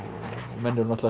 menn eru náttúrulega